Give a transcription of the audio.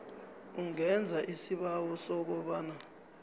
ungenza isibawo sokobana